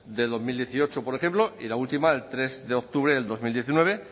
de dos mil dieciocho por ejemplo y la última el tres de octubre del dos mil diecinueve